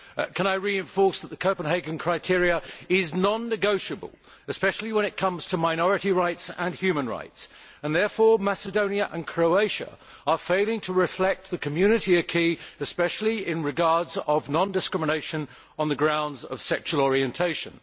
Can I reinforce that the Copenhagen criteria are non negotiable, especially when it comes to minority rights and human rights, and Macedonia and Croatia are therefore failing to reflect the Community especially as regards non discrimination on the grounds of sexual orientation.